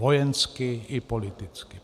Vojensky i politicky.